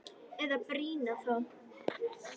Eða brýna þá!